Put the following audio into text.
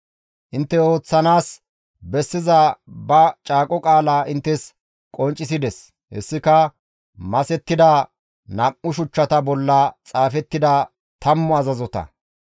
Intte ooththanaas bessiza ba caaqo qaalaa inttes qonccisides; hessika masettida nam7u shuchchata bolla xaafettida tammu azazota.